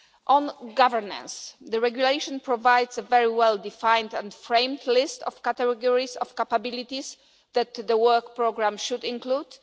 On governance the regulation provides a very well defined and framed list of categories of capabilities that the work programme should include.